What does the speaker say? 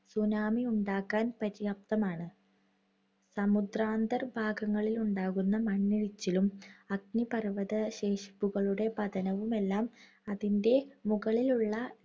tsunami യുണ്ടാക്കാൻ പര്യാപ്തമാണ്. സമുദ്രാന്തർ ഭാഗങ്ങളിലുണ്ടാകുന്ന മണ്ണിടിച്ചിലും അഗ്നിപർവ്വതശേഷിപ്പുകളുടെ പതനവും എല്ലാം അതിന്റെ മുകളിലുള്ള